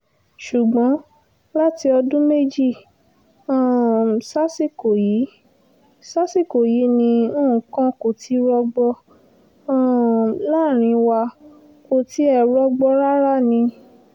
ṣùgbọ́n láti ọdún méjì um sásìkò yìí sásìkò yìí ni nǹkan kò ti rọgbọ um láàrín wa kò tiẹ̀ rọgbọ rárá ni